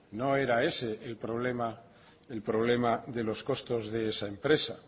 no era ese el problema de los costes de esa empresa